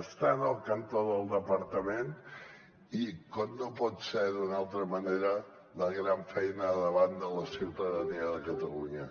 estant al cantó del departament i com no pot ser d’una altra manera la gran feina davant de la ciutadania de catalunya